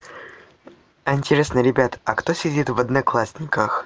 а интересно ребята а кто сидит в одноклассниках